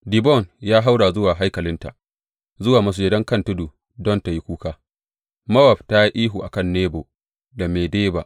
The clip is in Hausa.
Dibon ya haura zuwa haikalinta, zuwa masujadan kan tudu don tă yi kuka; Mowab ta yi ihu a kan Nebo da Medeba.